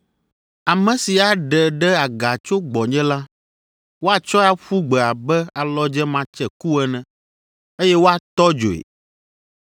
Ame si aɖe ɖe aga tso gbɔnye la, woatsɔe aƒu gbe abe alɔdze matseku ene, eye woatɔ dzoe.